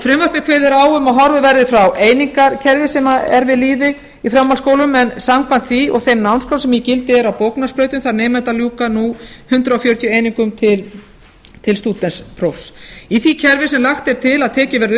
frumvarpið kveður á um að horfið verði frá einingakerfi sem er við lýði í framhaldsskólum en samkvæmt því og þeim námskrám sem í gildi eru á bóknámsbrautum þarf nemandi að ljúka nú hundrað fjörutíu einingum til stúdentsprófs í því kerfi sem lagt er til að tekið verði